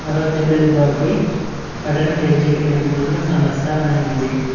తెల్లటి బోర్డు పై పట్టణ పేదరిక నిర్మూలన సమస్య అని ఉంది.